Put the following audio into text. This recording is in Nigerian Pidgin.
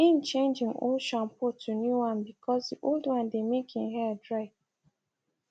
im change im old shampoo to new one bcause di old one dey make im hair dry